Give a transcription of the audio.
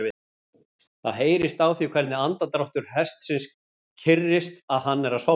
Það heyrist á því hvernig andardráttur hestsins kyrrist að hann er að sofna.